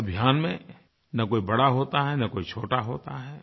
इस अभियान में न कोई बड़ा होता है न कोई छोटा होता है